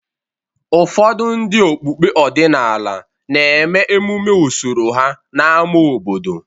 Ụfọdụ ndị okpukpe ọdịnala na-eme emume usoro ha n’ámá obodo.